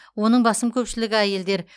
оның басым көпшілігі әйелдер